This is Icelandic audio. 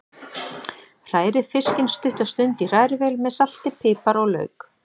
Hrærið fiskinn stutta stund í hrærivél með salti, pipar og lauk.